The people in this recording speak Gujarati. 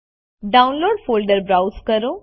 ડાઉનલોડ્સ ફોલ્ડર બ્રાઉઝ કરો